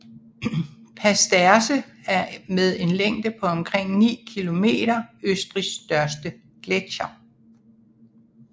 Pasterze er med en længde på omkring 9 kilometer Østrigs største gletsjer